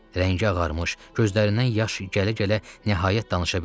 Rəngi ağarmış, gözlərindən yaş gələ-gələ nəhayət danışa bildi.